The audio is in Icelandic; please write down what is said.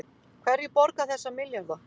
Hverjir borga þessa milljarða